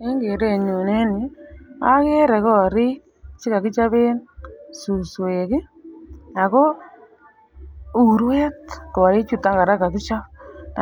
En kerenyun en yuu okere korik chekokichoben suswek ki ako uruet korik chuton Koraa kokichob